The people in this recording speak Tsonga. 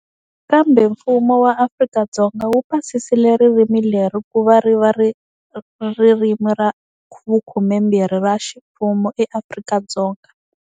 Kambe mfumo wa Afrika-Dzonga wu pasisile ririmi leri ku va ri va ririmi ra vukhumembirhi ra ximfumo eAfrika-Dzonga.